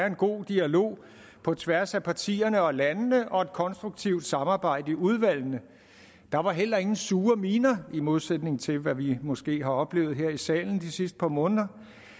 en god dialog på tværs af partierne og landene og et konstruktivt samarbejde i udvalgene der var heller ingen sure miner i modsætning til hvad vi måske har oplevet her i salen de sidste par måneder